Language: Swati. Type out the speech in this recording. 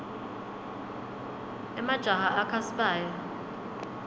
emajaha akha sibaya